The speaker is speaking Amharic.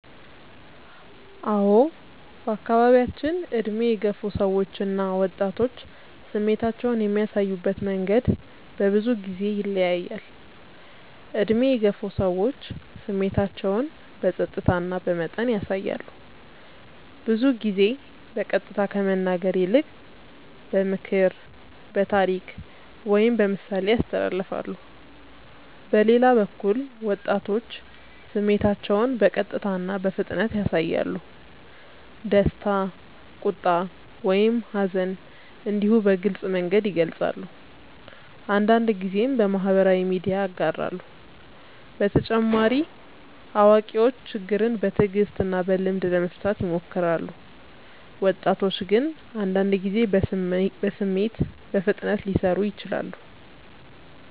አዎ በአካባቢያችን ዕድሜ የገፉ ሰዎች እና ወጣቶች ስሜታቸውን የሚያሳዩበት መንገድ በብዙ ጊዜ ይለያያል። ዕድሜ የገፉ ሰዎች ስሜታቸውን በጸጥታ እና በመጠን ያሳያሉ። ብዙ ጊዜ በቀጥታ ከመናገር ይልቅ በምክር፣ በታሪክ ወይም በምሳሌ ያስተላልፋሉ። በሌላ በኩል ወጣቶች ስሜታቸውን በቀጥታ እና በፍጥነት ያሳያሉ። ደስታ፣ ቁጣ ወይም ሐዘን እንዲሁ በግልጽ መንገድ ይገልጻሉ፤ አንዳንድ ጊዜም በማህበራዊ ሚዲያ ያጋራሉ። በተጨማሪ አዋቂዎች ችግርን በትዕግስት እና በልምድ ለመፍታት ይሞክራሉ፣ ወጣቶች ግን አንዳንድ ጊዜ በስሜት በፍጥነት ሊሰሩ ይችላሉ።